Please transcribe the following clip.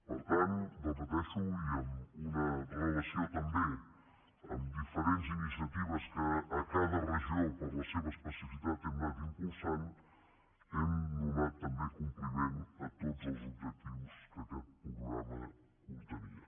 per tant ho repeteixo i amb una relació també amb diferents iniciatives que a cada regió per la seva especificitat hem anat impulsant hem donat també compliment a tots els objectius que aquest programa contenia